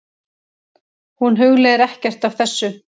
Hún hugleiðir ekkert af þessu.